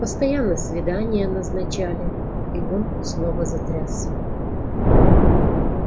постоянно свидания назначали и он снова затрясся